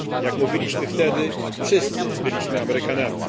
Jak mówiliśmy wtedy, wszyscy byliśmy Amerykanami.